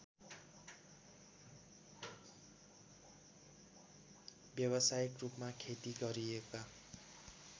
व्यवसायिकरूपमा खेती गरिएका